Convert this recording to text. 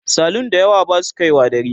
salun da yawa Basu kaiwa dare